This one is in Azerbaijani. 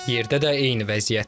Yerdə də eyni vəziyyətdir.